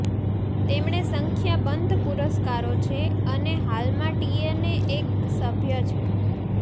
તેમણે સંખ્યાબંધ પુરસ્કારો છે અને હાલમાં ટીએનએ એક સભ્ય છે